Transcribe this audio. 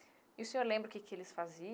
E o senhor lembra o que que eles